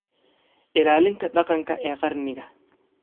Ilaalinta dhaqanka ee qarniga.